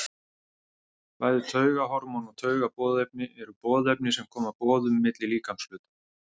Bæði taugahormón og taugaboðefni eru boðefni sem koma boðum milli líkamshluta.